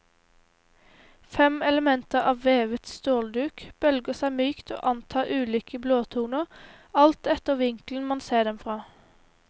Fem elementer av vevet stålduk bølger seg mykt og antar ulike blåtoner alt etter vinkelen man ser dem fra.